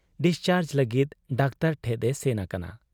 Discharge ᱞᱟᱹᱜᱤᱫ doctor ᱴᱷᱮᱫ ᱮ ᱥᱮᱱ ᱟᱠᱟᱱᱟ ᱾